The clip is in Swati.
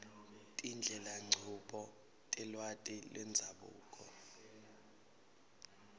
tindlelanchubo telwati lwendzabuko